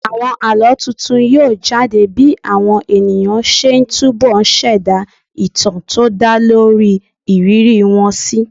Àwọn àlọ́ tuntun yóò jade bí àwọn ènìyàn ṣe ń túbo ṣẹ̀dá ìtàn tó dá lórí ìrírí wọn síi